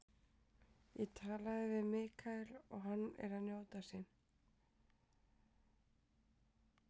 Ég tala mikið við Michael og hann er að njóta sín.